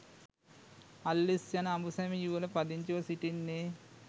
අල්විස් යන අඹුසැමි යුවල පදිංචිව සිටින්නේ